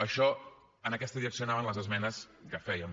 a això en aquesta direcció anaven les esmenes que fèiem